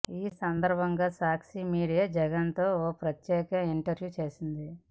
ఈ సందర్భంగా సాక్షి మీడియా జగన్ తో ఓ ప్రత్యేక ఇంటర్వ్యూ చేసింది